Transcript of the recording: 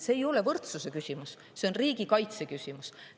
See ei ole võrdsuse küsimus, see on riigikaitse küsimus.